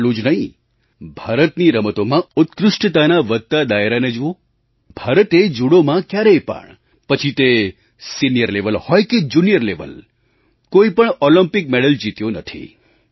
એટલું જ નહીં ભારતની રમતોમાં ઉત્કૃષ્ટતાના વધતા દાયરાને જુઓ ભારતે જુડોમાં ક્યારેય પણ પછી તે સિનિયર લેવલ હોય કે જુનિયર લેવલ કોઈ પણ ઑલિમ્પિક મેડલ જીત્યો નથી